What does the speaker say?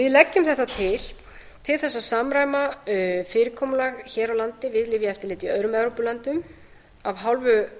við leggjum þetta til til þess að samræma fyrirkomulag hér á landi við lyfjaeftirlitið í öðrum evrópulöndum af hálfu